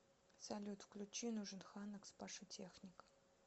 салют включи нужен ксанакс паша техник